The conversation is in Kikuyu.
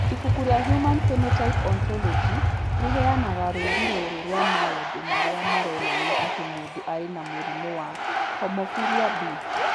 Ibuku rĩa Human Phenotype Ontology rĩheanaga rũũri rũrũ rwa maũndũ marĩa maronania atĩ mũndũ arĩ na mũrimũ wa Hemophilia B.